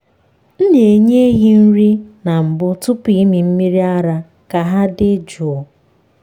m na-enye ehi nri na mbụ tupu ịmị mmiri ara ka ha dị jụụ.